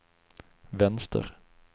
vänster